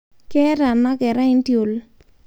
Keeta ana kerai ntiol